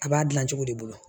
A b'a dilan cogo de bolo